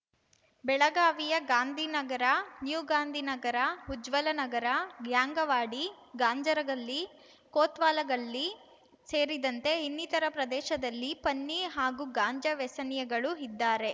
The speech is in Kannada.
ಬೆಳಗಾವಿಯ ಗಾಂಧಿ ನಗರ ನ್ಯೂ ಗಾಂಧಿನಗರ ಉಜ್ವಲನಗರ ಗ್ಯಾಂಗವಾಡಿ ಗಾಂಜರಗಲ್ಲಿ ಕೋತ್ವಾಲಗಲ್ಲಿ ಸೇರಿದಂತೆ ಇನ್ನಿತರ ಪ್ರದೇಶದಲ್ಲಿ ಪನ್ನಿ ಹಾಗೂ ಗಾಂಜಾ ವ್ಯಸನಿಗಳು ಇದ್ದಾರೆ